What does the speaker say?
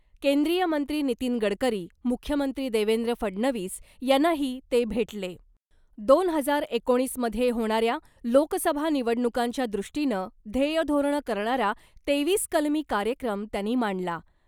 केंद्रीय मंत्री नितीन गडकरी , मुख्यमंत्री देवेंद्र फडणवीस यांना ही ते भेटले दोन हजार एकोणीसमध्ये होणाऱ्या लोकसभा निवडणूकांच्या दृष्टीनं ध्येयधोरणं करणारा तेवीस कलमी कार्यक्रम त्यांनी मांडला .